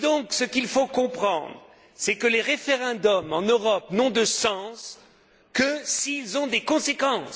Ce qu'il faut donc comprendre, c'est que les référendums en Europe n'ont de sens que s'ils ont des conséquences.